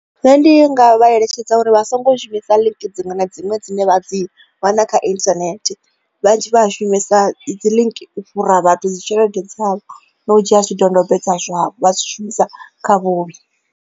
Nṋe ndi nga vha eletshedza uri vha songo shumisa link dziṅwe na dziṅwe dzine vha dzi wana kha internet vhanzhi vha shumisa dzi link u fhura vhathu dzi tshelede dzavho na u dzhia zwidodombedzwa zwavho vha dzi shumisa kha vhuvhi.